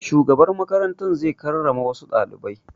Shugaban makarantar zai karrama wassu ɗalibai